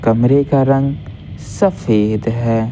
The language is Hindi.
कमरे का रंग सफेद है।